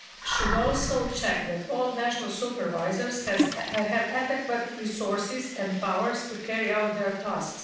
should also check that all national supervisors have adequate resources and powers to carry out their task.